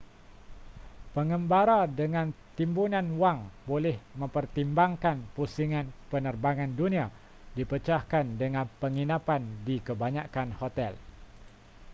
pengembara dengan timbunan wang boleh mempertimbangkan pusingan penerbangan dunia dipecahkan dengan penginapan di kebanyakan hotel